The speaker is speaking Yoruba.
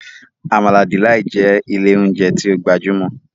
Amala Delight' jẹ ilé oúnjẹ tí o gbajúmò